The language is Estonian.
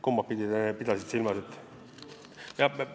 Kumbapidi sa pidasid silmas?